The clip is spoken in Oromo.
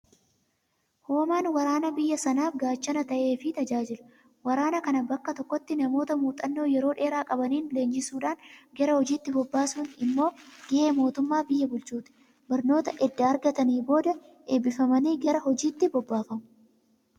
Hoomaan waraanaa biyya sanaaf gaachana ta'eefii tajaajila. Waraana kana bakka tokkotti namoota muuxxannoo yeroo dheeraa qabaniin leenjisuudhaan gara hojiitti bobbaasuun immoo gahee mootummaa biyya bulchuuti. Barnoota edda argatanii booda eebbifamanii gara hojiitti bobbaafamu.